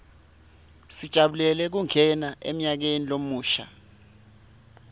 sijabulela kungena emnyakeni lomusha